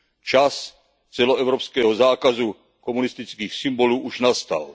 Čas celoevropského zákazu komunistických symbolů už nastal.